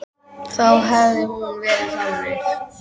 Þá hefði hún verið þannig